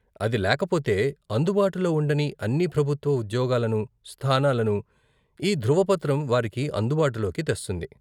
అది లేకపోతే అందుబాటులో ఉండని అన్ని ప్రభుత్వ ఉద్యోగాలను, స్థానాలను, ఈ ధ్రువపత్రం వారికి అందుబాటులోకి తెస్తుంది.